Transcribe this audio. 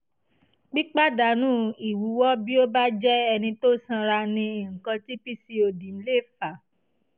pípàdánù ìwúwo bí o bá jẹ́ ẹni tó sanra ni nǹkan tí pcod lè fà